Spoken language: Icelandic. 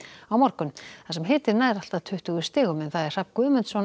á morgun þar sem hitinn mun ná allt að tuttugu stigum Hrafn Guðmundsson